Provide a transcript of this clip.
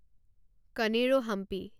কণেৰো Hampi